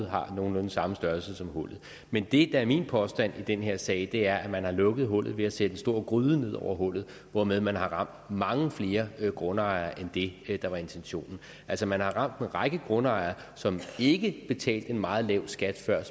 har nogenlunde samme størrelse som hullet men det der er min påstand i den her sag er at man har lukket hullet ved at sætte en stor gryde ned over hullet hvormed man har ramt mange flere grundejere end det der var intentionen altså man har ramt en række grundejere som ikke betalte en meget lav skat før